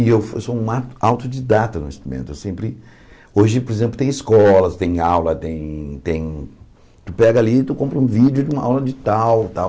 E eu sou um autodidata no instrumento, eu sempre... Hoje, por exemplo, tem escolas, tem aula, tem tem... Tu pega ali e tu compra um vídeo de uma aula de tal, tal.